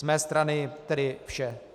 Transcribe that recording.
Z mé strany tedy vše.